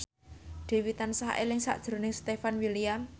Dewi tansah eling sakjroning Stefan William